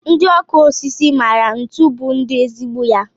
Ndị ọkụ osisi maara ntu bụ ndi ezigbo.